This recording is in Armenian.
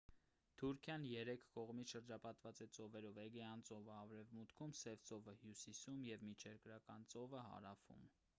թուրքիան երեք կողմից շրջապատված է ծովերով էգեյան ծովը արևմուտքում սև ծովը հյուսիսում և միջերկրական ծովը հարավում